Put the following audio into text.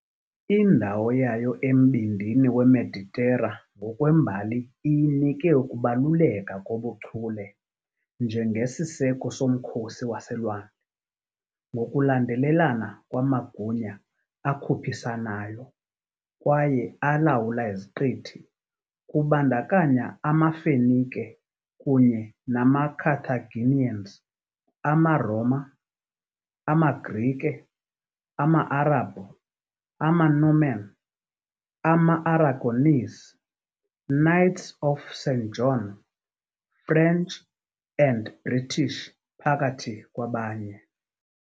Indawo yayo embindini weMeditera ngokwembali iyinike ukubaluleka kobuchule njengesiseko somkhosi waselwandle, ngokulandelelana kwamagunya akhuphisanayo kwaye alawula iziqithi, kubandakanya amaFenike kunye namaCarthaginians, amaRoma, amaGrike, ama-Arabhu, amaNorman, amaAragonese, Knights of St. John, French, and British, phakathi kwabanye.